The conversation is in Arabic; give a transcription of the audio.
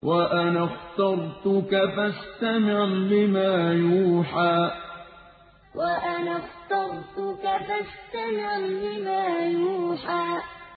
وَأَنَا اخْتَرْتُكَ فَاسْتَمِعْ لِمَا يُوحَىٰ وَأَنَا اخْتَرْتُكَ فَاسْتَمِعْ لِمَا يُوحَىٰ